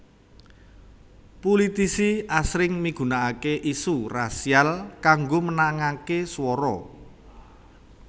Pulitisi asring migunakaké isu rasial kanggo menangaké swara